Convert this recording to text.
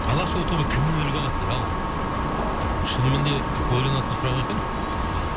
алашұлы тобы кімнен үлгі алады дейді ал шынымен де ойланатын сұрақ екен